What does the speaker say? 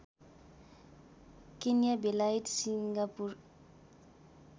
Kenya बेलायत Singapore